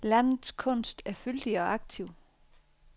Landets kunst er fyldig og aktiv.